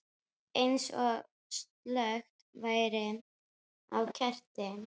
Eins og slökkt væri á kerti.